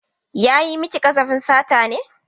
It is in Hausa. Ya yi mani ƙazafin sata ne.